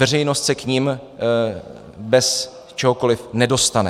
Veřejnost se k nim bez čehokoliv nedostane.